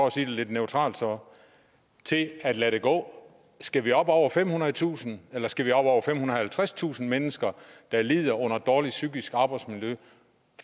at sige det lidt neutralt så til at lade det gå skal vi op over femhundredetusind eller skal vi op over femhundrede og halvtredstusind mennesker der lider under dårligt psykisk arbejdsmiljø